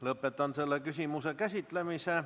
Lõpetan selle küsimuse käsitlemise.